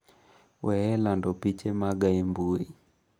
weyo lando piche maga e mbui!’